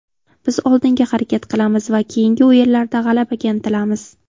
Biz oldinga harakat qilamiz va keyingi o‘yinlarda g‘alabaga intilamiz.